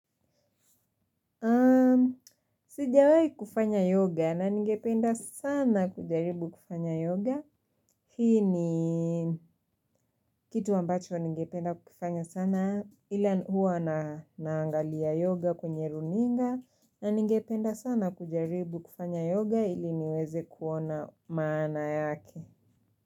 Sijawai kufanya yoga na ningependa sana kujaribu kufanya yoga Hii ni kitu ambacho ningependa kufanya sana ila huwa naangalia yoga kwenye runinga na ningependa sana kujaribu kufanya yoga ili niweze kuona maana yake.